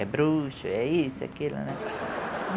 É bruxo, é isso, é aquilo, né?